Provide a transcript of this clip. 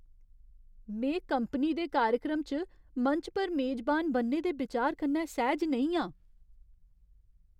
में कंपनी दे कार्यक्रम च मंच पर मेजबान बनने दे बिचार कन्नै सैह्ज नेईं आं।